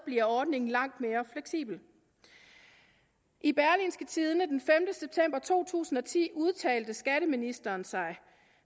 bliver ordningen langt mere fleksibel i berlingske tidende den sjette september to tusind og ti udtalte skatteministeren sig